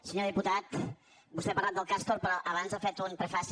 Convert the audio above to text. senyor diputat vostè ha parlat del castor però abans ha fet un prefaci